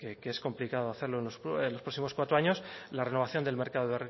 que es complicado hacerlo en los próximos cuatro años la renovación del mercado